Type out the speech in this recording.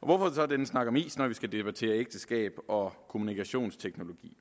og hvorfor så denne snak om is når vi skal debattere ægteskab og kommunikationsteknologi